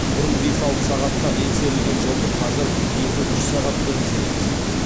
бұрын бес алты сағатта еңсерілген жолды қазір екі үш сағатта еңсереміз